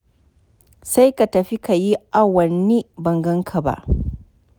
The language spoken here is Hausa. Sai ka tafi ka yi awanni ban gan ka ba.